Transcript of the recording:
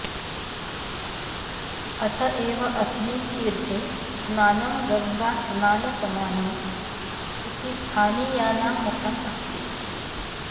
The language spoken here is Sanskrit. अत एव अस्मिन् तीर्थे स्नानं गङ्गास्नानसमानम् इति स्थानीयानां मतम् अस्ति